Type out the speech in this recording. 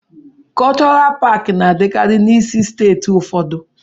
Kọlchọral paakị na-adịkarị n'isi steeti ụfọdụ.